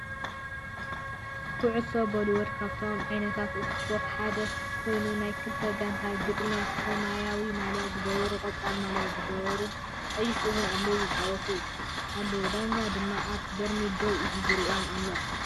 ኩዑሶ ቦሊቦል ካብቶም ዓይነታት እስፖርት ሓደ ኮይኑ ናይ ክልተ ጋንታ ግጥሚ ሰማያዊ ማልያ ዝገበሩን ቆፃል ማልያ ዝገበሩን፣ ቀይሕ እዉን ኣለዉዋ ይፃወቱ ኣለዉ ዳኛ ድማ ኣብ በርሚል ደው ኢሉ ይሪኦም ኣሎ።